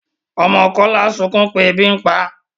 ọmọ Kola sunkún tí ẹbi ǹ pá